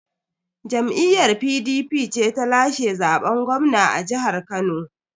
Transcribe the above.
Jam'iyyar PDP ce ta lashe zaben gwamna a jihar Kano.